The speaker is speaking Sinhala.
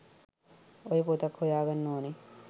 ඔය පොතත් හොයාගන්න ඕන